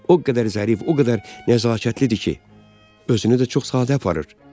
O qədər əzəli, o qədər nəzakətlidir ki, özünü də çox sadə aparır.